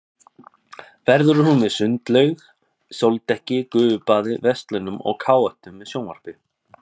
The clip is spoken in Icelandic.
Verður hún með sundlaug, sóldekki, gufubaði, verslunum og káetum með sjónvarpi.